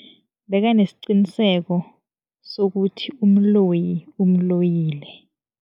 Bekanesiqiniseko sokuthi umloyi umloyile.